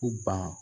U ban